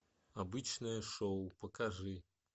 обычное шоу покажи